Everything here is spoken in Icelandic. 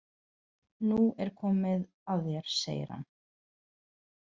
Nú er komið að þér, segir hann.